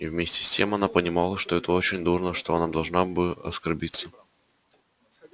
и вместе с тем она понимала что это очень дурно что она должна бы оскорбиться